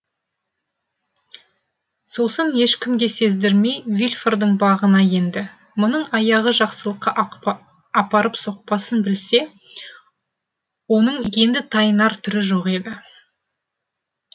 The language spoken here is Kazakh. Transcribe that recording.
сосын ешкімге сездірмей вильфордың бағына енді мұның аяғы жақсылыққа апарып соқпасын білсе оның енді тайынар түрі жоқ еді